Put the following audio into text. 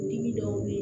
Dimi dɔw be ye